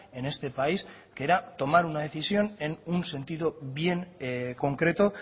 en este país que era tomar una decisión en un sentido bien concreto